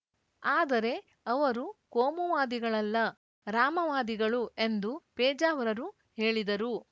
ಆದರೆ ಅವರು ಕೋಮುವಾದಿಗಳಲ್ಲ ರಾಮವಾದಿಗಳು ಎಂದು ಪೇಜಾವರರು ಹೇಳಿದರು